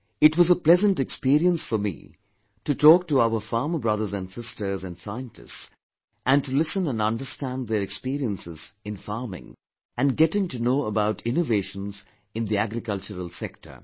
It was a pleasant experience for me to talk to our farmer brothers and sisters and scientists and to listen and understand their experiences in farming and getting to know about innovations in the agricultural sector